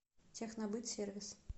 технобытсервис